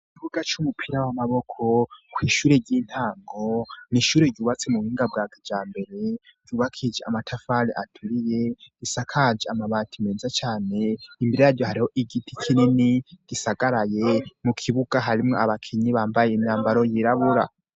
Ikibuga c'umupira w'amaboko kw'ishure ry'intango nishure ryubatse mu buhinga bwa kejambere ryubakishije amatafari. aturiye asakaje amabati meza cane, imbere yaryo hariho igiti kinini gisagaraye mu kibuga harimwo abakenyi bambaye imyambaro yirabura.